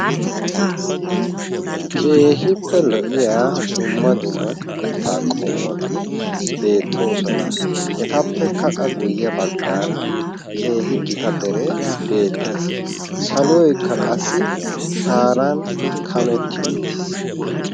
Keehippe lo'iya dumma dumma mitaa qommoti beettoosona. Etappekka qa guye baggaara keehi gita deree bettees. Saloykka qassi shaaran kametti uttiis.